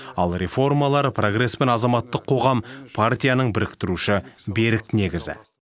ал реформалар прогресс пен азаматтық қоғам партияның біріктіруші берік негізі